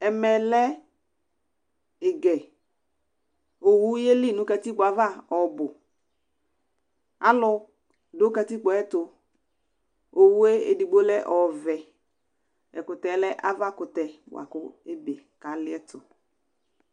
Ɛmɛ lɛ ɩgɛOwu yeli nʋ katkpo ava ɔbʋ; alʋ dʋ katikpo yɛ tʋOwu edigbo lɛ ɔvɛ, ɛkʋtɛ lɛ ava kʋtɛ k' ebe,k' alɩɛtʋ